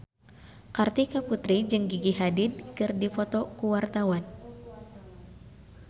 Kartika Putri jeung Gigi Hadid keur dipoto ku wartawan